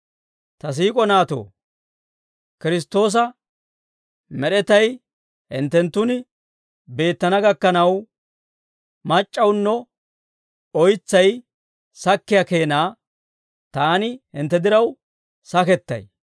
Ta siik'o naatoo, Kiristtoosa med'etay hinttenttun beettana gakkanaw, mac'c'awuno oytsay sakkiyaa keenaa, taani hintte diraw sakettay.